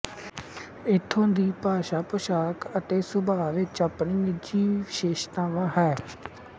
ਇੱਥੇ ਦੀ ਭਾਸ਼ਾ ਪੋਸ਼ਾਕ ਅਤੇ ਸੁਭਾਅ ਵਿੱਚ ਆਪਣੀ ਨਿਜੀਵਿਸ਼ੇਸ਼ਤਾਵਾਂਹੈ